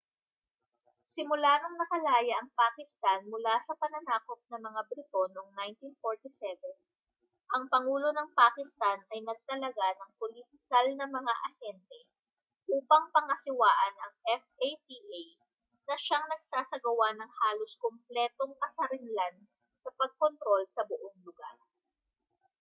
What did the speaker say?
simula noong nakalaya ang pakistan mula sa pananakop ng mga briton noong 1947 ang pangulo ng pakistan ay nagtalaga ng politikal na mga ahente upang pangasiwaan ang fata na siyang nagsasagawa ng halos kumpletong kasarinlan sa pagkontrol sa buong lugar